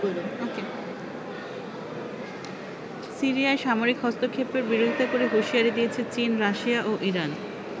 সিরিয়ায় সামরিক হস্তক্ষেপের বিরোধিতা করে হুশিয়ারি দিয়েছে চীন, রাশিয়া ও ইরান।